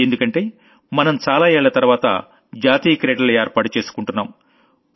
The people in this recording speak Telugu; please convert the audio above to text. ఎందుకంటే మనం చాలా ఏళ్ల తర్వాత నేషనల్ Gamesని ఏర్పాటు చేసుకుంటున్నాం